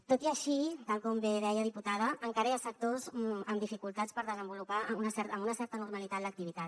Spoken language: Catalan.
tot i així tal com bé deia diputada encara hi ha sectors amb dificultats per desenvolupar amb una certa normalitat l’activitat